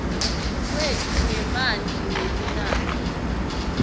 kwetfu ngemanti ngelinani